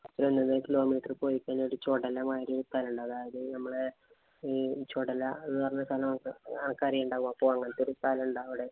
kilometer പോയിക്കഴിഞ്ഞാല്‍ ഒരു ചൊടല മാതിരി ഒരു സ്ഥലോണ്ട്. അതായത് നമ്മടെ ഈ ചൊടല എന്ന് പറഞ്ഞ ഒരു സ്ഥലോണ്ട്. അനക്കറിയുണ്ടാവും. അപ്പൊ അങ്ങനത്തെ ഒരു സ്ഥലോണ്ട്. അവിടെ